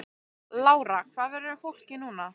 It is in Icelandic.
Lára: Hvað verður um fólkið núna?